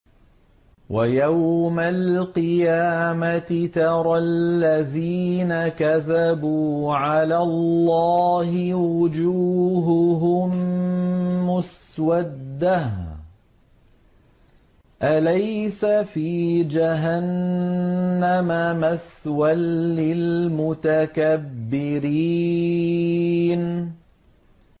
وَيَوْمَ الْقِيَامَةِ تَرَى الَّذِينَ كَذَبُوا عَلَى اللَّهِ وُجُوهُهُم مُّسْوَدَّةٌ ۚ أَلَيْسَ فِي جَهَنَّمَ مَثْوًى لِّلْمُتَكَبِّرِينَ